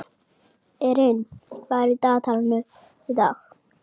Erin, hvað er í dagatalinu í dag?